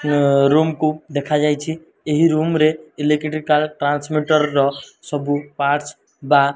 ଅ ରୁମ୍ କୁ ଦେଖାଯାଇଛି ଏହି ରୁମ୍ ରେ ର ସବୁ ପାର୍ଟସ ବା --